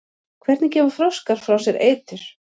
hvernig gefa froskar frá sér eitur